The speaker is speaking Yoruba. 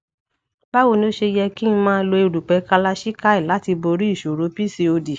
bawo ni o se yẹ ki n ma lo erupẹ kalachikai lati bori iṣoro pcod